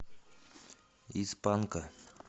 из панка